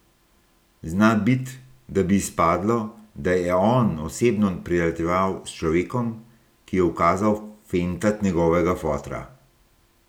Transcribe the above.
Zna bit, da bi izpadlo, da je On osebno prijateljeval s človekom, ki je ukazal fentat njegovega fotra.